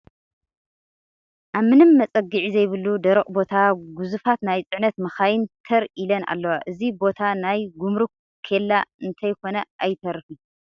ኣብ ምንም መፀግዒ ዘይብሉ ደረቕ ቦታ ጉዙፋት ናይ ፅዕነት መኻይን ተር ኢለን ኣለዋ፡፡ እዚ ቦታ ናይ ግሙሩክ ኬላ እንተይኮነ ኣይተርፍን፡፡